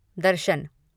दर्शन